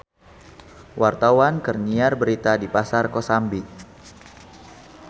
Wartawan keur nyiar berita di Pasar Kosambi